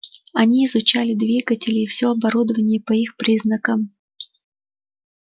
он изучал двигатели и все оборудование по их приказам